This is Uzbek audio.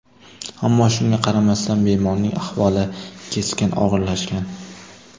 Ammo shunga qaramasdan bemorning ahvoli keskin og‘irlashgan.